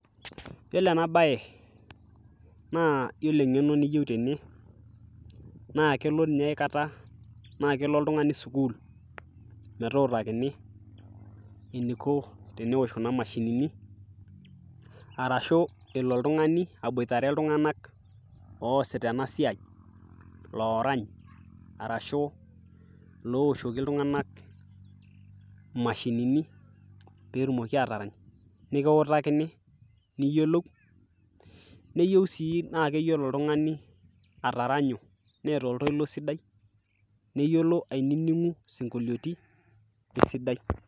yiolo ena baye naa yiolo eng'eno niyieu tene naa kelo ninye aikata naa kelo oltung'ani sukul metutakini eniko tenewosh kuna mashinini arashu elo oltung'ani aboitare iltung'anak oosita ena siai lorany arashu looshoki iltung'anak imashinini petumoki atarany nikiwutakini niyiolou neyieu sii naa keyiolo oltung'ani ataranyu neeta oltoilo sidai neyiolo ainining'u sinkolioti esidai.